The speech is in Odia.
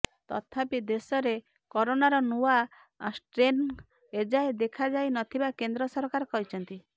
ତଥାପି ଦେଶରେ କରୋନାର ନୂଆ ଷ୍ଟ୍ରେନ ଏଯାଏ ଦେଖାଯାଇ ନଥିବା କେନ୍ଦ୍ର ସରକାର କହିଛନ୍ତି